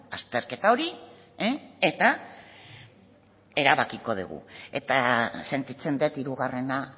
azterketa hori eta erabakiko dugu eta sentitzen dut hirugarrena